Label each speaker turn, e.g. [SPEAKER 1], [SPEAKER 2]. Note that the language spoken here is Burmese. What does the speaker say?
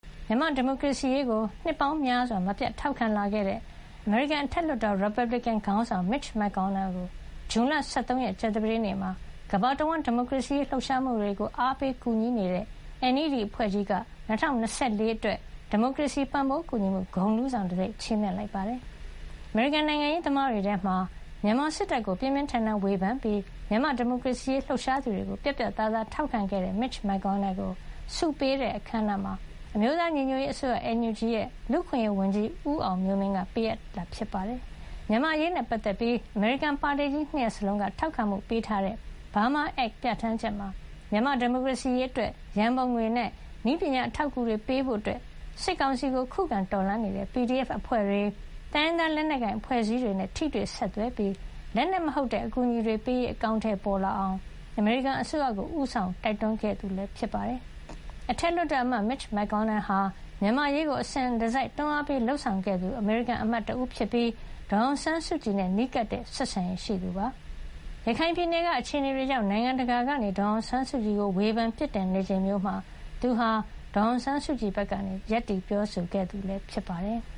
[SPEAKER 1] မြန်မာ့ဒီမိုကရေစီရေးကို နှစ်ပေါင်းများစွာ မပြတ်ထောက်ခံလာခဲ့တဲ့ အမေရိကန် အထက်လွှတ်တော် ရီပတ်ဘလစ်ကင် ခေါင်းဆောင် Mitch McConnell ကို ဇွန်လ ၁၃ ရက် ကြာသပတေးနေ့မှာ ကမ္ဘာတဝန်း ဒီမိုကရေစီရေး လှုပ်ရှားမှုတွေကို အားပေးကူညီနေတဲ့ NED အဖွဲ့ကြီးက ၂၀၂၄ ခုနှစ်အတွက် ဒီမိုကရေစီ ပံ့ပိုးကူညီမှု ဂုဏ်ထူးဆောင်တံဆိပ် (Democracy Service Medal Honorees) ချီးမြှင့်လိုက်ပါတယ်။ အမေရိကန်နိုင်ငံရေးသမားတွေထဲမှာ မြန်မာစစ်တပ်ကို ပြင်းပြင်းထန်ထန် ဝေဖန်ပြီး မြန်မာ့ ဒီမိုကရေစီရေး လှုပ်ရှားသူတွေကို ပြတ်ပြတ်သားသား ထောက်ခံခဲ့တဲ့ Mitch McConnell ကို ဆုပေးပွဲအခမ်းအနားမှာ အမျိုးသားညီညွတ်ရေးအစိုးရ NUG ရဲ့ လူ့အခွင့်ရေးဝန်ကြီး ဦးအောင်မျိုးမင်းက ပေးအပ်ချီးမြှင့်ခဲ့တာပါ။ မြန်မာ့အရေးနဲ့ ပတ်သက်ပြီး အမေရိကန် ပါတီကြီး ၂ ရပ်စလုံးက ထောက်ခံမှုပေးထားတဲ့ Burma Act ပြဌာန်းချက်မှာ မြန်မာ့ဒီမိုကရေစီရေး အတွက် ရန်ပုံငွေနဲ့နည်းပညာ အထောက်အကူတွေပေးဖို့၊ စစ်ကောင်စီကို ခုခံတော်လှန်နေတဲ့ PDF အဖွဲ့တွေ၊ တိုင်းရင်းသား လက်နက်ကိုင် အဖွဲ့အစည်းတွေနဲ့ ထိတွေ့ဆက်သွယ်ပြီး လက်နက်မဟုတ်တဲ့ အကူညီတွေပေးရေး အကောင်ထည် ဖေါ်လာအောင် အမေရိကန်အစိုးရကို ဦးဆောင် တိုက်တွန်းခဲ့သူလည်း ဖြစ်ပါတယ်။ အထက်လွှတ်တော်အမတ် Mitch McConnell ဟာ မြန်မာ့အရေးကို အစဉ်တစိုက် တွန်းအားပေးလုပ်ဆောင်ခဲ့သူ အမေရိကန်အမတ်တဦးဖြစ်ပြီး ဒေါ်အောင်ဆန်းစုကြည်နဲ့ နီးကပ်တဲ့ဆက်ဆံရေးရှိသူဖြစ်ပါတယ်။ ရခိုင်ပြည်နယ်က အခြေအနေတွေကြောင့် နိုင်ငံ တကာက ဒေါ်အောင်ဆန်းစုကြည်ကို ဝေဖန်ပြစ်တင်နေချိန်မျိုးမှာ သူဟာ ဒေါ်အောင်ဆန်းစုကြည်ဘက်ကနေ ရပ်တည် ပြောဆိုခဲ့သူ ဖြစ်ပါတယ်။